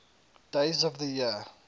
days of the year